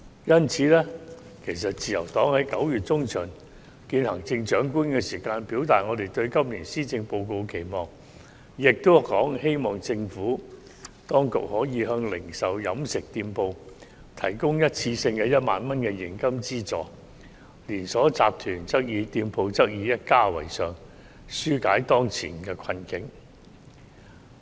因此，自由黨在9月中旬會見行政長官時已表達我們對今年施政報告的期望，希望政府當局可以向零售和飲食店鋪提供一次性的1萬元現金資助，連鎖集團店鋪則以一家為上限，紓解當前的困境。